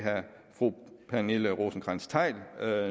fru pernille rosenkrantz theil